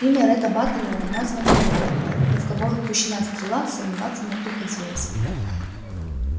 имя ретта батлера названо не было но в кого пущена стрела сомневаться не приходилось